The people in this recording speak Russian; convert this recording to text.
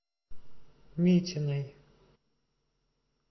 митиной